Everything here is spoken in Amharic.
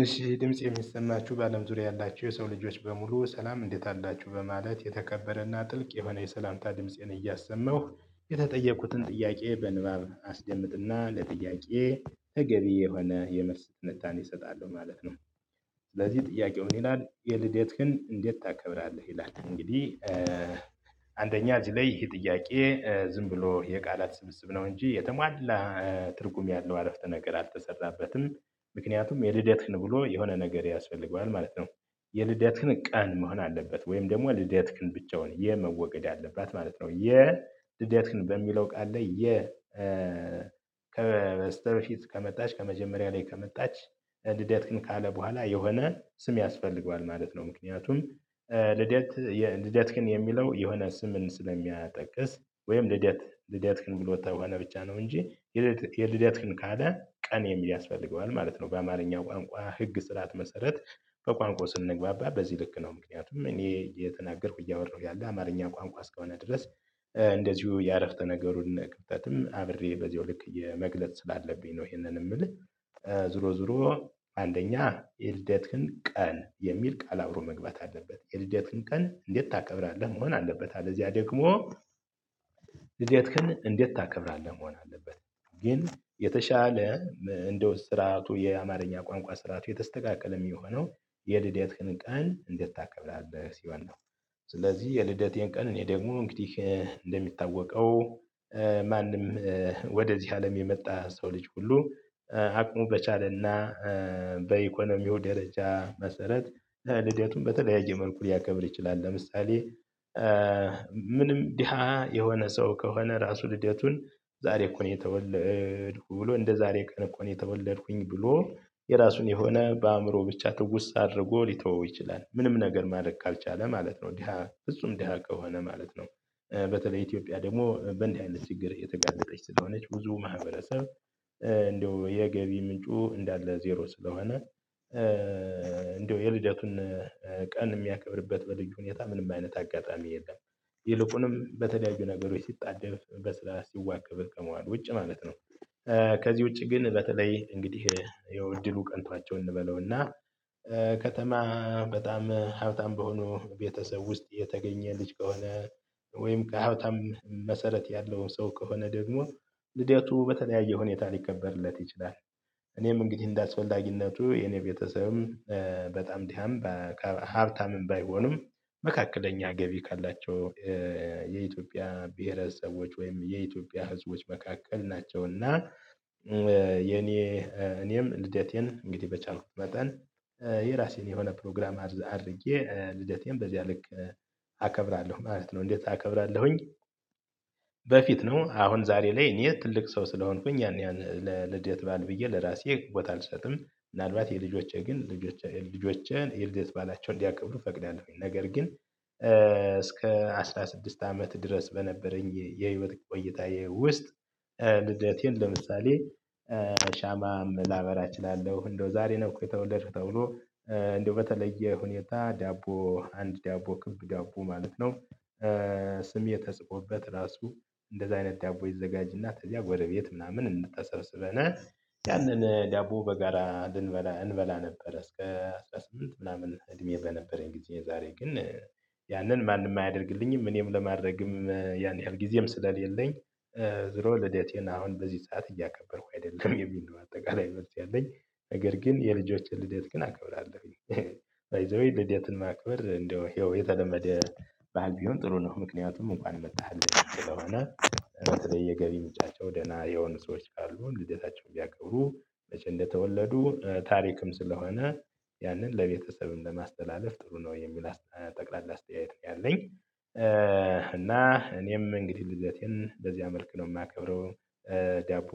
እሺ ድምጽ የሚሰማችሁ በአለም ዙሪያ ያላችሁ የሰው ልጆች በሙሉ ሰላም እንዴት አላችሁ በማለት የተከበረና ጥልቅ የሆነ የሰላምታ ድምፄን እያሰማሁ የተጠየቁትን ጥያቄ በንባብ አስደምጥና ለጥያቄው ተገቢ የሆነ የመልስ ትንታኔ እሰጣለሁ ማለት ነው። ስለዚህ ጥያቄው ምንይላል የልደትክን እንዴት ታከብራለህ ይላል እንግዲህ? አንደኛ እዚህ ላይ ይሄ ጥያቄ ዝም ብሎ የቃላት ስብስብ ነው እንጂ የተሟላ ትርጉም ያለው አረፍተ ነገር አልተሰራበትም። ምክንያቱም የልደትህን ብሎ የሆነ ነገር ያስፈልገዋል ማለት ነው። የልደትን ቀን መሆን አለበት ወይም ደግሞ የልደትህን ብቻውን የመወገድ ያለባት ማለት ነው። የልደትክን በሚለው ቃል ላይ የ ከመስመር በፊት ከመጣች ከመጀመሪያ ላይ ከመጣች ልደት ግን ካለ በኋላ የሆነ ስም ያስፈልገዋል ማለት ነው። ምክንያቱም ልደት ልደት ግን የሚለው የሆነ ስምን ስለሚጠቅስ ወይም ልደት ልደትህን ብሎ ከሆነ ብቻ ነው እንጂ የልደትክን ካለ ቀን የሚል ያስፈልገዋል ማለት ነው። በአማርኛ ቋንቋ ህግ ስርዓት መሰረት በቋንቋ ስንግባባ በዚህ ልክ ነው ምክንያቱም እኔ እየተናገርኩ እያወራሁ ያለ አማርኛ ቋንቋ እስከሆነ ድረስ። እንደዚሁ የአረፍተ ነገሩን ክፍተትም አብሬ በዚሁ ልክ የመግለጽ ስላለብኝ ነው። ይሄንን የምልህ ዞሮ ዞሮ አንደኛ የልደትክን ቀን የሚል ቃል አብሮ መግባት አለበት የልደትን ቀን እንዴት ታቀብራለህ መሆን አለበት አለዚያ ደግሞ ልደትክን እንዴት ታከብራለህ መሆን አለበት። ግን የተሻለ እንደ ስርዓቱ የአማርኛ ቋንቋ ስርዓቱ የተስተካከለ የሚሆነው የልደትህን ቀን እንዴት ታከብራለህ ሲሆን ነው። ስለዚህ የልደቴን ቀን እኔ ደግሞ እንግዲህ እንደሚታወቀው ማንም ወደዚህ አለም የመጣ ሰው ልጅ ሁሉ አቅሙ በቻለና በኢኮኖሚው ደረጃ መሰረት ልደቱን በተለያየ መልኩ ሊያከብር ይችላል። ለምሳሌ ምንም ድሃ የሆነ ሰው ከሆነ ራሱ ልደቱን ዛሬ እኮ ነው የተወለድኩ ብሎ እንደዛሬ ቀን እኮ ነው የተወለድኩኝ ብሎ የራሱን የሆነ በአእምሮ ብቻ ትውስታ አድርጎ ሊተወው ይችላል። ምንም ነገር ማድረግ ካልቻለ ማለት ነው ድሃ ፍጹም ድሃ ከሆነ ማለት ነው። በተለይ ኢትዮጵያ ደግሞ በእንደዚህ አይነት ችግር የተጋለጠች ስትሆነች ብዙ ማህበረሰብ እንደው የገቢ ምንጩ እንዳለ ዜሮ ስለሆነ እንደው የልደቱን ቀን የሚያከብርበት በልዩ ሁኔታ ምንም አይነት አጋጣሚ የለም። ይልቁንም በተለያዩ ነገሮች ሲጣደፍ በስራ ሲዋገብ ከመዋል ውጭ ማለት ነው። ከዚህ ውጪ ግን በተለይ እንግዲህ ያው እድሉ ቀንቶአቸው እንበለውና ከተማ በጣም ሀብታም በሆኑ ቤተሰብ ውስጥ የተገኘ ልጅ ከሆነ ወይም ከሀብታም መሰረት ያለው ሰው ከሆነ ደግሞ ልደቱ በተለያየ ሁኔታ ሊከበርለት ይችላል። እኔም እንግዲህ እንደ አስፈላጊነቱ የኔ ቤተሰብም በጣም ድሀም ሀብታምም ባይሆኑም መካከለኛ ገቢ ካላቸው የኢትዮጵያ ብሄረሰቦች ወይም የኢትዮጵያ ህዝቦች መካከል ናቸውና የኔ እኔም ልደቴን እንግዲህ በቻልኩት መጠን የራሴን የሆነ ፕሮግራም አድርጌ ልደቴን በዚያ ልክ አከብራለሁ ማለት ነው። እንዴት አከብራለሁኝ በፊት ነው አሁን ዛሬ ላይ እኔ ትልቅ ሰው ስለሆንኩኝ ያን ያን ለልደት በዓል ብዬ ለራሴ ቦታ አልሰጥም። ምናልባት የልጆቼ ግን ልጆቼን የልደት በአልአቸውን እንዲያከብሩ ፈቅዳለሁኝ። ነገር ግን እስከ አስራ ስድስት አመት ድረስ በነበረኝ የህይወት ቆይታዬ ውስጥ ልደቴን ለምሳሌ ሻማም ላበራ እችላለሁ እንደው ዛሬ ነውእኮ የተወለዱ ተብሎ እንደው በተለየ ሁኔታ ዳቦ አንድ ዳቦ ክብ ዳቦ ማለት ነው። ስሜ ተፅፎበት ራሱ እንደዚህ አይነት ዳቦ ይዘጋጅና ከዚያ ጎረቤት ምናምን እንሰበሰብና ያንን ዳቦ በጋራ እንበላ እንበላ ነበር። እስከ አስራ ስምንት ምናምን እድሜ በነበረኝ ጊዜ ዛሬ ግን ያንን ማንም አያደርግልኝም እኔም ለማድረግም ያን ያህል ጊዜም ስለሌለኝ ዙሮ ልደቴን አሁን በዚህ ሰዓት እያከበርኩ አይደለም የሚሉ አጠቃላይ መልስ ያለኝ። ነገር ግን የልጆችን ልደት ግን አከብራለሁኝ። ባይ ዘ ዌይ ልደትን ማክበር እንደው ያው የተለመደ ባህል ቢሆን ጥሩ ነው። ምክንያቱም እንኳን የመጣህልን ስለሆነ በተለይ የገቢ ምጫቸው ደህና የሆኑ ሰዎች ካሉ ልደታቸውን ቢያከብሩ መቸ እንደተወለዱ ታሪክም ስለሆነ ያንን ለቤተሰብም ለማስተላለፍ ጥሩ ነው። የሚል ጠቅላላ አስተያየት ነው ያለኝ። እና እኔም እንግዲህ ልደቴን በዚያ መልክ ነው የማከብረው። ዳቦ